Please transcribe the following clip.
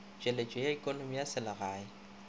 tšweletšo ya ekonomi ya selegae